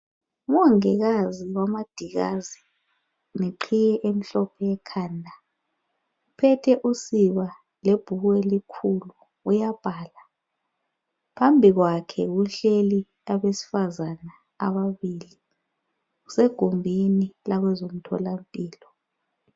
Umongikazi wamadikazi leqhiye emhlophe ekhanda, uphethe usiba lebhuku elikhulu uyabhala. Phambi kwakhe kuhleli abesifazana ababili, kusegumbini labezomtholampilo.